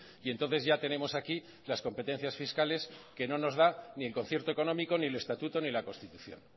y entonces ya tenemos aquí las competencias fiscales que no nos dan ni el concierto económico ni el estatuto ni la constitución